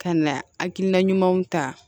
Ka na hakilina ɲumanw ta